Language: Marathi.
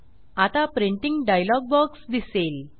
आता प्रिंटिंग डायलॉग बॉक्स दिसेल